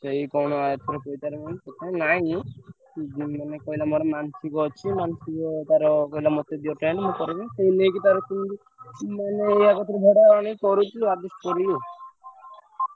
ସେଇ କଣ ଏଥର ନାଇଁ କହିଲା ମୋର ମାନସିକ ଅଛି ମାନସିକ ତାର କହିଲା ମତେ ଦିଅ tent ମୁଁ କରିବି ସିଏ ନେଇକି ତାର ଭଡା ଆଣି କରୁଚି।